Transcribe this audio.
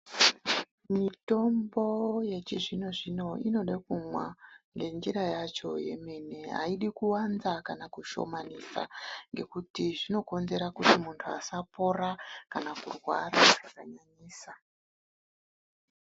Mitombo yechizvino zvino inoda kumwa ngenjira yacho yemene. Aidi kuwanza kana kushomanisa ngekuti zvinokonzera kuti muntu asapora kana kurwara zvakanyanyisa.